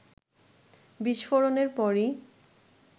বিস্ফোরনের পরই